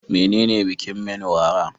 Menene bikin Menwara?